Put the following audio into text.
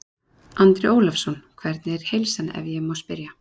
Andri Ólafsson: Hvernig er heilsan ef ég má spyrja?